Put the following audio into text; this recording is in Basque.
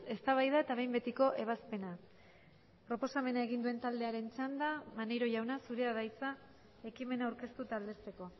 eztabaida eta behin betiko ebazpena proposamena egin duen taldearen txanda maneiro jauna zurea da hitza ekimena aurkeztu eta aldezteko